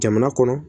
Jamana kɔnɔ